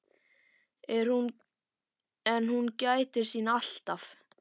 En hún gætir sín alltaf.